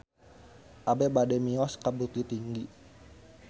Abi bade mios ka Bukittinggi